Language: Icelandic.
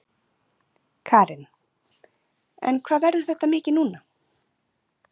Karen: En hvað verður þetta mikið núna?